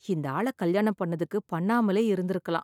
இந்த ஆளை கல்யாணம் பண்ணதுக்கு பண்ணாமலே இருந்திருக்கலாம்.